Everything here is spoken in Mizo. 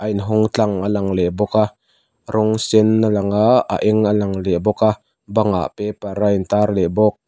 a inhawng tlang a lang leh bawk a rawng sen a lang a a eng a lang leh bawk a bangah paper a in tar leh bawk.